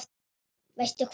Veistu hvað?